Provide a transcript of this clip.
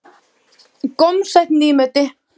Gómsætt nýmeti.